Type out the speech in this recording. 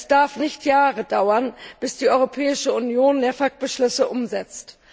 Es darf nicht Jahre dauern, bis die Europäische Union NEAFK Beschlüsse umsetzt.